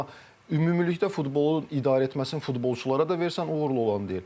Amma ümumilikdə futbolun idarə etməsini futbolçulara da versən, uğurlu olan deyil.